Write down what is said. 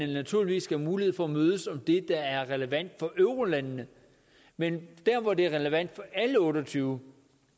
naturligvis have mulighed for at mødes om det der er relevant for eurolandene men der hvor det er relevant for alle otte og tyve